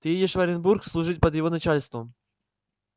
ты едешь в оренбург служить под его начальством